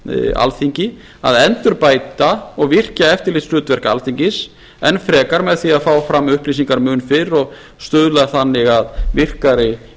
alþingi að endurbæta og virkja eftirlitshlutverk alþingis enn frekar með því að fá fram upplýsingar mun fyrr og stuðla þannig að virkari